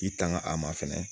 I tanga a ma fɛnɛ